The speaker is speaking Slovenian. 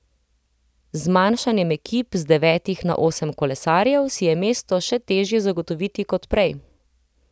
Z zmanjšanjem ekip z devetih na osem kolesarjev si je mesto še težje zagotoviti kot prej.